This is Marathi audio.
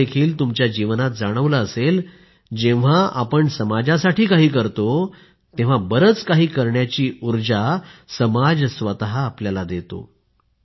तुम्हाला देखील तुमच्या जीवनात जाणवलं असेल जेव्हा आपण समाजासाठी काही करतो तेव्हा बरेच काही करण्याची ऊर्जा समाज स्वतः आपल्याला देतो